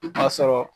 K'a sɔrɔ